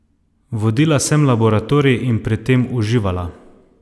Vodila sem laboratorij in pri tem uživala!